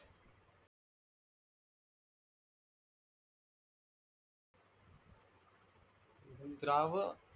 अनद्राव